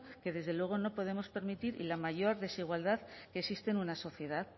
que desde luego no podemos permitir y la mayor desigualdad que existe en una sociedad